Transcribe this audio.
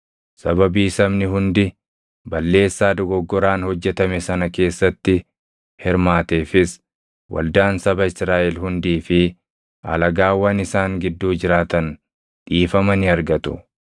Sababii sabni hundi balleessaa dogoggoraan hojjetame sana keessatti hirmaateefis waldaan saba Israaʼel hundii fi alagaawwan isaan gidduu jiraatan dhiifama ni argatu.